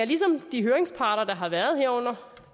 ligesom de høringsparter der har været herunder